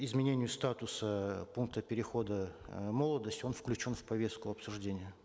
изменению статуса пункта перехода э молодость он включен в повестку обсуждения